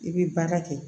I bɛ baara kɛ